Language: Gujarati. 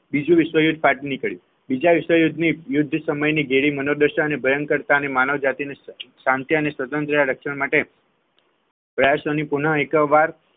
બીજું વિશ્વયુદ્ધ ફાટી નીકળ્યું બીજા વિશ્વયુદ્ધની યુદ્ધ સમયની ઘેરી મનોદશા અને ભયકરતા માનવજાતિની શાંતિ અને સ્વતંત્ર રક્ષણ માટે પ્રયાસોને પૂર્ણ એકવાર